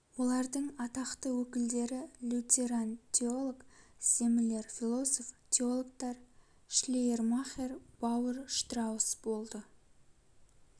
олардың атақты өкілдері лютеран теолог землер философ-теологтар шлейермахер баур штраус болды